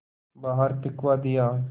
बाहर फिंकवा दिया